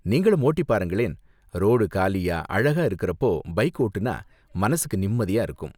நீங்களும் ஓட்டிப் பாருங்களேன், ரோடு காலியா, அழகா இருக்குறப்போ பைக் ஓட்டினா மனசுக்கு நிம்மதியா இருக்கும்.